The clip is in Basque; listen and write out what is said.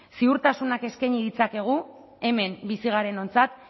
ziurtasunak eskaini ditzakegu hemen bizi garenontzat